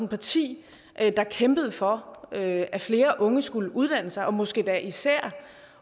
parti der kæmpede for at at flere unge skulle uddanne sig og måske endda især